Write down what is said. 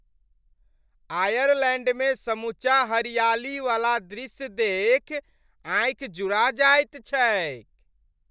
आयरलैण्डमे समूचा हरियालीवला दृश्य देखि आँखि जुड़ा जाइत छैक।